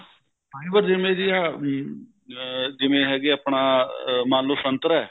ਹਾਂਜੀ ਜਿਵੇਂ ਤੁਸੀਂ ਜਿਵੇਂ ਹੈਗੇ ਆਪਣਾ ਮੰਨ ਲੋ ਸੰਤਰਾ